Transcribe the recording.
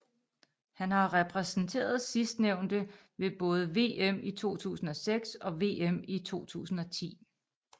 Han har repræsenteret sidstnævnte ved både VM i 2006 og VM i 2010